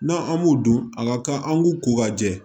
N'a an b'u dun a ka kan an k'u ko ka jɛ